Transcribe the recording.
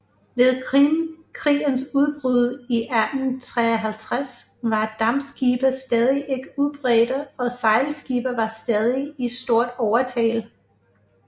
Ved Krimkrigens udbrud i 1853 var dampskibe stadig ikke udbredte og sejlskibe var stadig i stort overtal